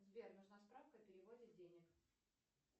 сбер нужна справка о переводе денег